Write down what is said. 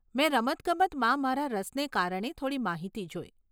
મેં રમતગમતમાં મારા રસને કારણે થોડી માહિતી જોઈ.